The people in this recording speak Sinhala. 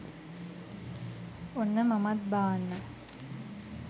ඔන්න මමත් බාන්න